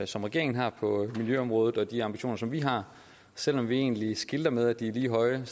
som regeringen har på miljøområdet og de ambitioner som vi har selv om vi egentlig skilter med at de er lige høje